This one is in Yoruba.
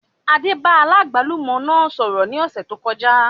Adé bá aláàgbálùmọ́ náà sọ̀rọ̀ ní ọ̀sẹ̀ tó kọjá